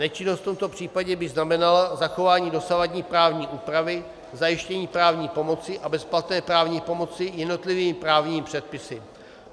Nečinnost v tomto případě by znamenala zachování dosavadní právní úpravy zajištění právní pomoci a bezplatné právní pomoci jednotlivými právními předpisy.